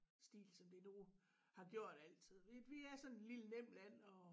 Stil som det nu har gjort altid vi vi er sådan et lille nemt land at